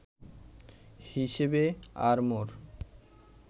হিসেবে অরমোর